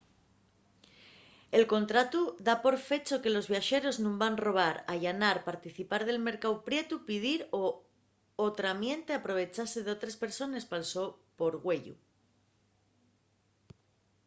el contratu da por fecho que los viaxeros nun van robar allanar participar del mercáu prietu pidir o otramiente aprovechase d'otres persones pal so porgüeyu